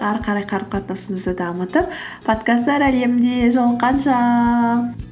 ары қарай қарым қатынасымызды дамытып подкасттар әлемінде жолыққанша